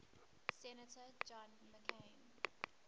senator john mccain